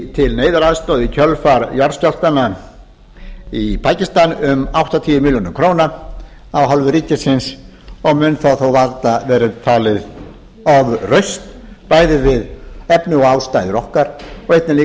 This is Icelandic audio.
til neyðaraðstoðar í kjölfar jarðskjálftanna í pakistan um áttatíu milljónir af hálfu ríkisins og mun það þó varla vera talin ofrausn bæði við efni og ástæður okkar og einnig líka við